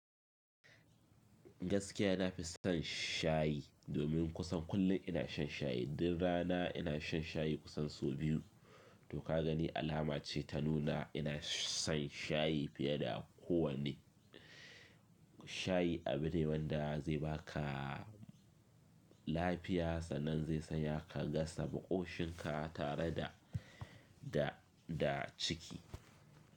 Gaskiya nafi son shayi. Domin kusan kullum ina shan shayi. Duk rana ina shan shayi kusan sau biyu. To ka gani alama ce ta nuna ina son shayi fiye da kowane. Shayi abu ne wanda zai baka lafiya sannan zai sa ya kashe makoshinka tare da, da, da ciki.